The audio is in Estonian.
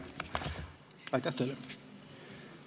Aitäh teile!